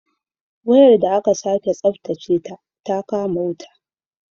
Wayar da aka sake tsabtace ta kama wuta